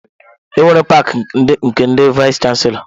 Enwere paki nke ndị vayis chansilọ.